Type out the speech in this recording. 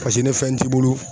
Paseke ni fɛn t'i bolo